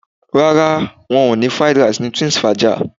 Rárá, wọn ò Fried Rice ni Twinsfaja